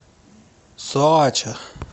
соача